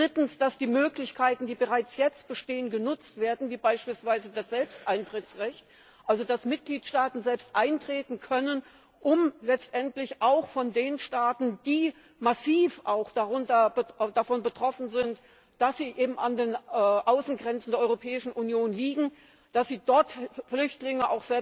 Drittens, dass die Möglichkeiten, die bereits jetzt bestehen, genutzt werden, beispielsweise das Selbsteintrittsrecht also dass Mitgliedstaaten selbst eintreten können, um letztendlich von den Staaten, die massiv davon betroffen sind, da sie an den Außengrenzen der Europäischen Union liegen, selbst Flüchtlinge